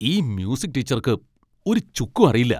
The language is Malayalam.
ഈ മ്യൂസിക് ടീച്ചർക്ക് ഒരു ചുക്കും അറിയില്ല.